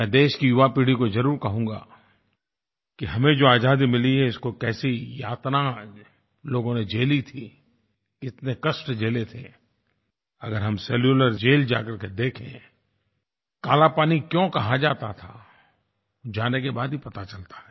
मैं देश की युवापीढ़ी को ज़रूर कहूँगा कि हमें जो आज़ादी मिली है उसकी कैसी यातना लोगों ने झेली थी कितने कष्ट झेले थे अगर हम सेलुलर जेल जाकर देखें काला पानी क्यों कहा जाता था जाने के बाद ही पता चलता है